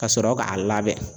Ka sɔrɔ k'a labɛn.